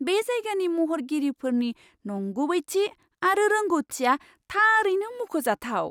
बे जायगानि महरगिरिफोरनि नंगुबैथि आरो रोंग'थिया थारैनो मुंख'जाथाव!